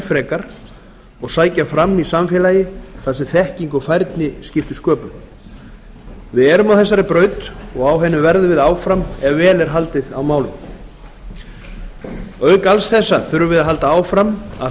frekar og sækja fram í samfélagi þar sem þekking og færni skipta sköpum við erum á þessari braut og á henni verðum við áfram ef vel er haldið á málum auk alls þessa þurfum við að halda áfram að